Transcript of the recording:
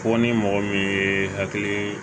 Fɔ ni mɔgɔ min ye hakili